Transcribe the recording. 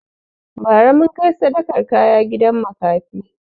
Bara mun kai sadakan kaya gida makafi